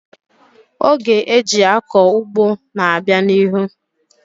Oge eji akọ ugbo na-abịa n'ihu.